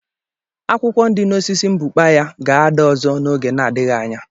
Akwụkwọ dị n'osisi mbukpa ya ga-ada ọzọ n'oge na-adịghị anya.